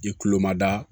I kulo ma da